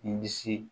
Ni disi